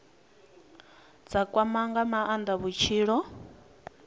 dza kwama nga maanda vhutshilo